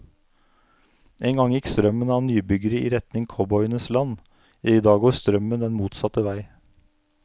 En gang gikk strømmen av nybyggere i retning cowboyenes land, i dag går strømmen den motsatte vei.